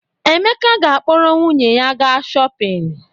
Emeka ga-akpọrọ nwunye ya gaa shọpịn.